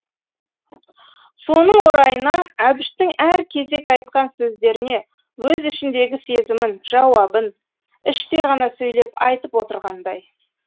соның орайына әбіштің әр кезек айтқан сөздеріне өз ішіндегі сезімін жауабын іштей ғана сөйлеп айтып отырғандай